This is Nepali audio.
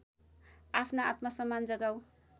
आफ्नो आत्मसम्मान जगाऊ